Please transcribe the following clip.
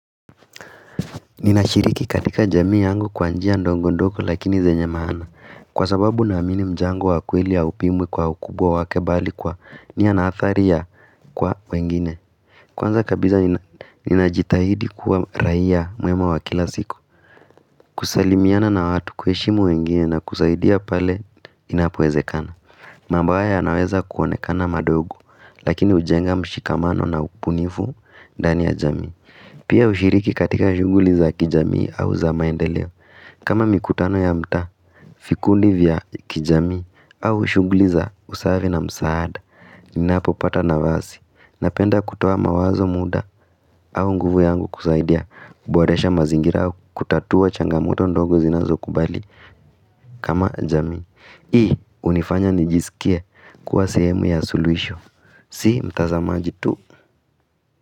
Ninashiriki katika jamii yangu kwa njia ndogo ndogo lakini zenye maana. Kwa sababu naamini mjango wa kweli haupimwi kwa ukubwa wake mbali kwa niya na athari ya kwa wengine Kwanza kabisa ninajitahidi kuwa raia mwema wa kila siku kusalimiana na watu, kuheshimu wengine na kusaidia pale inapowezekana mambo haya yanaweza kuonekana madogo lakini hujenga mshikamano na ubunifu ndani ya jamii Pia hushiriki katika shughuli za kijamii au za maendeleo kama mikutano ya mtaa, vikundi vya kijamii au shughuli za usaave na msaada Ninapopata nafasi, napenda kutoa mawazo, muda au nguvu yangu kusaidia kuboresha mazingira au kutatua changamoto ndogo zinazokubali kama jamii Hii hunifanya nijisikie kuwa sehemu ya suluhisho, si mtazamaji tu.